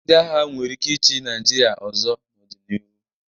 Ndị agha nwere ike ịchị Naịjirịa ọzọ n'ọdịnihu.